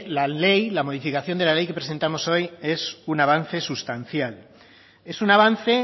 la ley la modificación de la ley que presentamos hoy es un avance sustancial es un avance